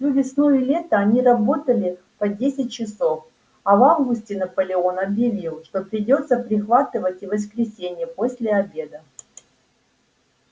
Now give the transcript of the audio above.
всю весну и лето они работали по десять часов а в августе наполеон объявил что придётся прихватывать и воскресенья после обеда